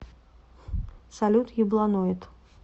салют ебланоид